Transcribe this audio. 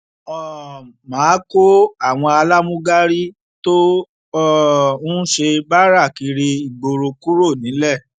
um má a kó àwọn alámúgárí tó um ń ṣe báárà kiri ìgboro kúrò nílẹ